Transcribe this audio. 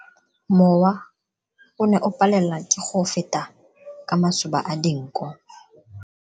Mowa o ne o palelwa ke go feta ka masoba a dinko.